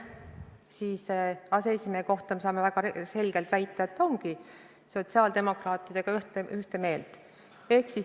Komisjoni aseesimehe kohta me saame väga selgelt väita, et ta on sotsiaaldemokraatidega ühte meelt.